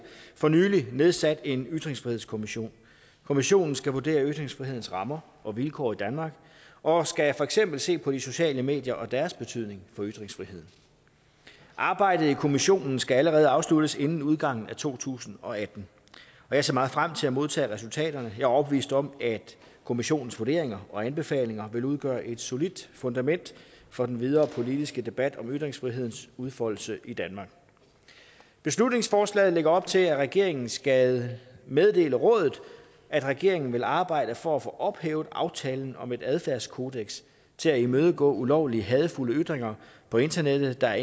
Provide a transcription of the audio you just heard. for nylig nedsat en ytringsfrihedskommission kommissionen skal vurdere ytringsfrihedens rammer og vilkår i danmark og skal for eksempel se på de sociale medier og deres betydning for ytringsfriheden arbejdet i kommissionen skal allerede afsluttes inden udgangen af to tusind og atten og jeg ser meget frem til at modtage resultaterne jeg er overbevist om at kommissionens vurderinger og anbefalinger vil udgøre et solidt fundament for den videre politiske debat om ytringsfrihedens udfoldelse i danmark beslutningsforslaget lægger op til at regeringen skal meddele rådet at regeringen vil arbejde for at få ophævet aftalen om et adfærdskodeks til at imødegå ulovlige hadefulde ytringer på internettet der